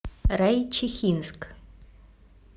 райчихинск